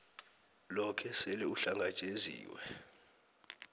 loke sele uhlangatjeziwe